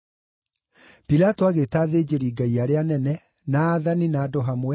Pilato agĩĩta athĩnjĩri-Ngai arĩa anene, na aathani, na andũ hamwe,